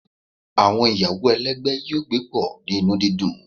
Awọn iyawo ẹlẹgbẹ yoo gbe pọ ni inu didun